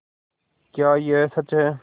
क्या यह सच है